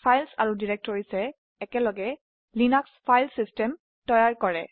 file আৰু ডিৰেক্টৰিয়ে একেলগে লিনাক্স ফাইল সিস্টেম তৈয়াৰ কৰে